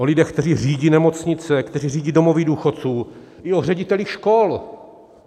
O lidech, kteří řídí nemocnice, kteří řídí domovy důchodců, i o ředitelích škol.